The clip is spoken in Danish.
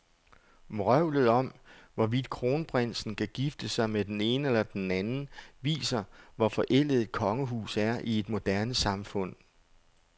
Vrøvlet om, hvorvidt kronprinsen kan gifte sig med den ene eller den anden, viser, hvor forældet et kongehus er i et moderne samfund.